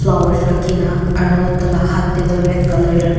rakhina aro tai la hat tae tu red colour ra--